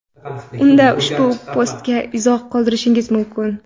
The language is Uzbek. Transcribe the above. unda ushbu postga izoh qoldirishingiz mumkin.